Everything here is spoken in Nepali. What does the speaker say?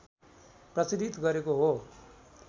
प्रचलित गरेको हो